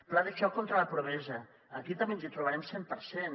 pla de xoc contra la pobresa aquí també ens hi trobarem cent per cent